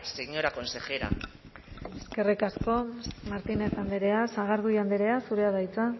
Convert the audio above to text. señora consejera eskerrik asko martínez andrea sagardui andrea zurea da hitza